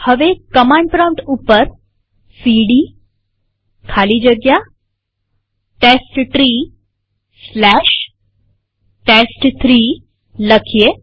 હવે command prompt ઉપર cd ખાલી જગ્યા testtreeટેસ્ટ3 લખીએ